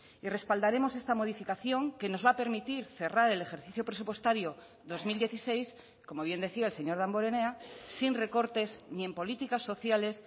y respaldaremos esta modificación que nos va a permitir cerrar el ejercicio presupuestario dos mil dieciséis como bien decía el señor damborenea sin recortes ni en políticas sociales